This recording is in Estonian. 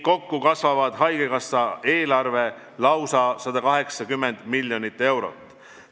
Kokku kasvab haigekassa eelarve lausa 180 miljonit eurot.